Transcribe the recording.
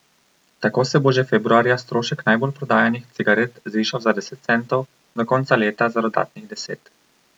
Tako se bo že februarja strošek najbolj prodajanih cigaret zvišal za deset centov, do konca leta za dodatnih deset.